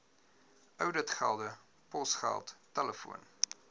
ouditgelde posgeld telefoon